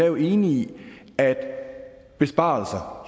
jo enig i at besparelser